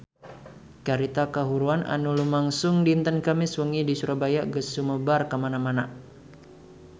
Carita kahuruan anu lumangsung dinten Kemis wengi di Surabaya geus sumebar kamana-mana